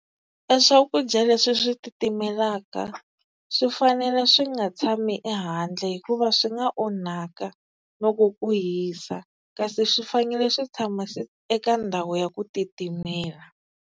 E swakudya leswi swi titimelaka swi fanele swi nga tshami ehandle hikuva swi nga onhaka loko ku hisa, kasi swi fanele swi tshama eka ndhawu ya ku titimela.